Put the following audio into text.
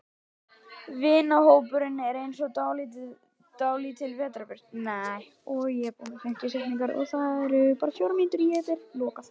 Vinahópurinn er eins og dálítil vetrarbraut.